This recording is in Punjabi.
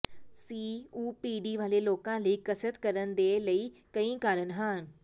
ਸੀਓਪੀਡੀ ਵਾਲੇ ਲੋਕਾਂ ਲਈ ਕਸਰਤ ਕਰਨ ਦੇ ਕਈ ਕਾਰਨ ਹਨ